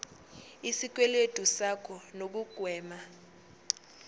ngesikweletu sakho nokugwema